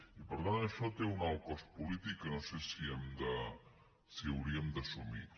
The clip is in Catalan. i per tant això té un alt cost polític que no sé si hauríem d’assumir